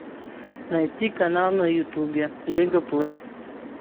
найти канал на ютубе лига плей